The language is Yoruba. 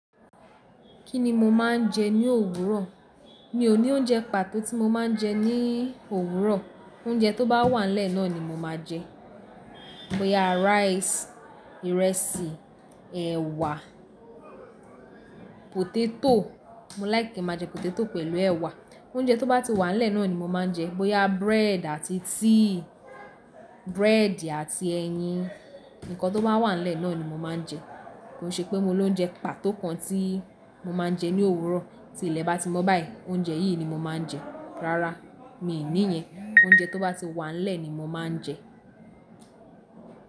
Kí ni mo máa ń jẹ ní òwúrọ̀? Mi ò ní oúnjẹ pàtó tí mo máa ń jẹ ní òwúrọ̀. Oúnjẹ tó bá wà n lẹ́ẹ̀ náà ni mo máa jẹ. Bo ya rice, ìrẹsì, ẹ̀wà, potato. Mo láìkin máa jẹ potato pẹ̀lú ẹ̀wà. Oúnjẹ tó bá ti wà lẹ́ẹ̀ náà ni mo máa ń jẹ. Bo ya bread àti tíì, bread àti ẹyin. Ǹkan tó bá wà n lẹ́ẹ̀ náà ni mo máa ń jẹ. Ko ṣe pé mo lo oúnjẹ pàtó kan tí mo máa ń jẹ ní òwúrọ̀. Tí ilẹ̀ bá ti mọ́ báyìí, oúnjẹ yìí ni mo máa ń jẹ. Rárá, mi ní ìyẹn. Oúnjẹ tó bá ti wà n lẹ́ẹ̀ ni mo máa ń jẹ.